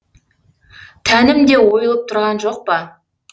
тәнім де ойылып тұрған жоқ па